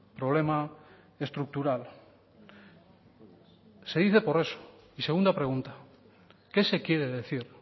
problema estructural se dice por eso y segunda pregunta qué se quiere decir